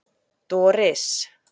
Doris